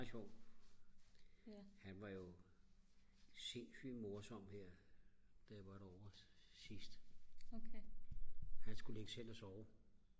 sjov han var jo sindssyg morsom her da jeg var derovre sidst han skulle lægge sig ind at sove